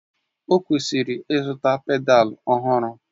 Ọ kwesịrị ịzụta pedalu ọhụrụ